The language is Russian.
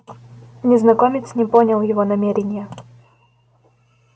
незнакомец не понял его намерения